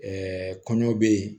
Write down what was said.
kɔɲɔ bɛ yen